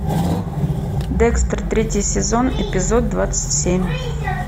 декстер третий сезон эпизод двадцать семь